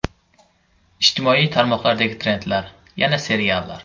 Ijtimoiy tarmoqlardagi trendlar: Yana seriallar.